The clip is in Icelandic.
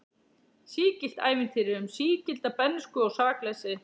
Sígilt ævintýri um sígilda bernsku og sakleysi.